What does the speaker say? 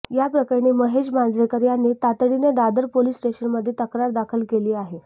या प्रकरणी महेश मांजरेकर यांनी तातडीनं दादर पोलीस स्टेशनमध्ये तक्रार दाखल केली आहे